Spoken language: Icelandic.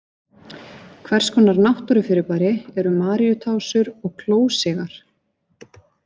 Hvers konar náttúrufyrirbæri eru Maríutásur og klósigar?